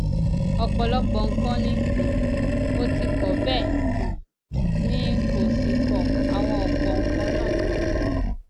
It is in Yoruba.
ọpọlọpọ nǹkan ni um mo ti kọ bẹẹ um ni n kò sì kọ àwọn ọpọ nǹkan náà